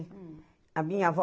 A minha avó